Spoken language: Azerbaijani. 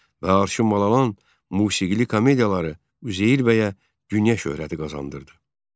və Arşın mal alan musiqili komediyaları Üzeyir bəyə dünya şöhrəti qazandırdı.